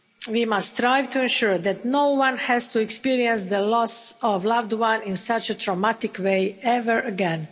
We must strive to ensure that no one has to experience the loss of a loved one in such a traumatic way ever again.